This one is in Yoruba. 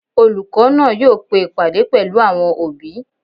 Olùkọ́ náà yóò pe ìpàdé pẹ̀lú àwọn òbí